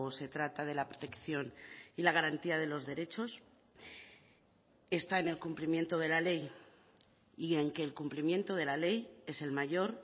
se trata de la protección y la garantía de los derechos está en el cumplimiento de la ley y en que el cumplimiento de la ley es el mayor